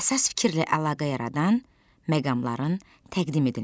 Əsas fikirlə əlaqə yaradan məqamların təqdim edilməsi.